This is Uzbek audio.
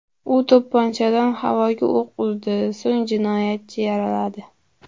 U to‘pponchadan havoga o‘q uzdi, so‘ng jinoyatchini yaraladi.